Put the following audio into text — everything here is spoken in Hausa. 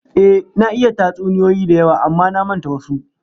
Ehh, na iya tatsuniyoyi da yawa amma na manta wasu